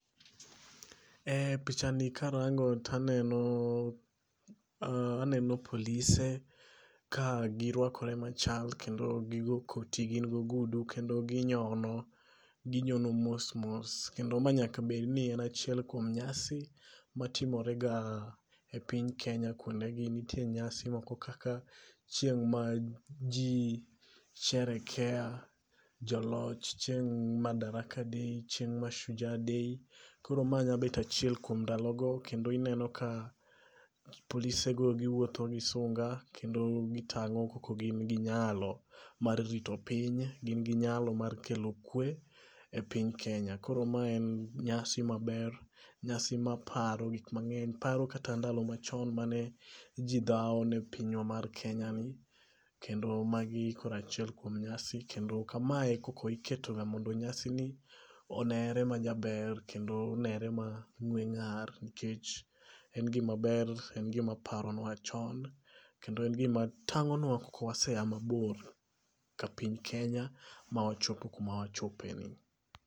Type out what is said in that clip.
E picha ni karango taneno aneno polise ka girwakore machal kendo gi go koti gin go ogudu kendo ginyono. Ginyono mos mos. Kendo ma nyaka bed ni en achiel kuom nyasi matimore ga e piny Kenya kuonde gi. Nitie nyasi moko kaka chieng' ma ji sherekea joloch. Chieng' madaraka day, chieng' mashujaa day. Koro ma nya bet achiel kuom ndalo go kendo ineno ka polise go giwuotho gi sunga kendo gitang'o koko gin gi nyalo mar rito piny. Gin gi nyalo mar kelo kwe e piny Kenya. Koro ma en nyasi maber. Nyasi maparo gik mang'eny. Paro kata ndalo machon mane ji dhawo ne pinywa mar Kenya ni. Kendo magi koro achiel kuom nyasi. Kendo kamae e koko iketo ga mondo nyasi ni onere ma jaber kendo onere ma ng'we ng'ar nikech en gima ber. En gima paronwa chon. Kendo en gima tang'onwa koko wase a mabor kapiny Kenya ma wachopo kuma wachopo e ni.